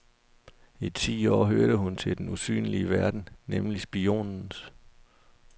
I ti år hørte hun til den usynlige verden, nemlig spionens.